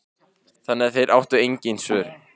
Þannig að þeir áttu engin svör.